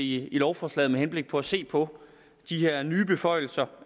i lovforslaget med henblik på at se på de her nye beføjelser